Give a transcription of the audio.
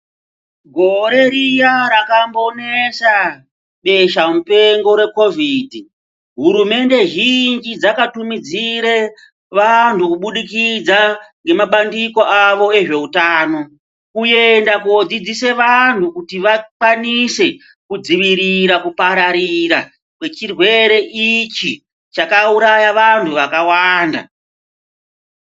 Gore Riya rakambonesa besha mupengo reCOVID hurumende zhinji dzakatumidzire vantu kududikidza ngemabandiko avo ezveutano , kuenda kudzidzise vantu kuti vakwanise kudzivirora kupararira kwechirwere ichi chakauraya vantu vakawanda .